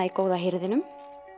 í góða hirðinum